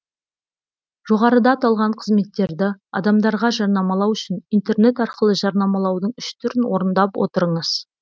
жоғарыда аталған қызметтерді адамдарға жарнамалау үшін интернет арқылы жарнамалаудың үш түрін орындап отырыңыз